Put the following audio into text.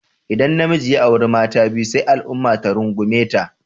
Idan namiji ya auri mata biyu sai al'umma ta rungume ta.